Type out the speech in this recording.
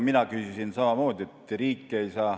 Mina küsisin samamoodi.